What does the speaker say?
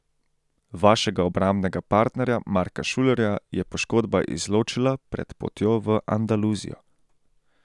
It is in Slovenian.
Vašega obrambnega partnerja Marka Šulerja je poškodba izločila pred potjo v Andaluzijo.